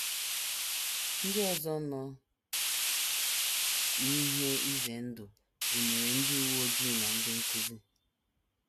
Ndị ọzọ nọ n’ihe ize ndụ gụnyere ndị uwe ojii na ndị nkụzi.